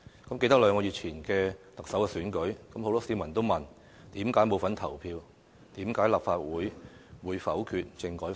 倘記得兩個月前的特首選舉，很多市民都問為何沒份投票，為何立法會否決了政改方案。